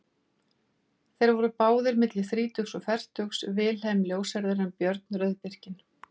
Þeir voru báðir milli þrítugs og fertugs, Vilhelm ljóshærður en Björn rauðbirkinn.